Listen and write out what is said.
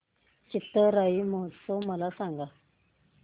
चिथिराई महोत्सव मला सांग